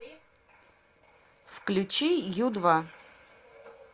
включи ю два